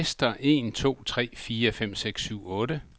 Tester en to tre fire fem seks syv otte.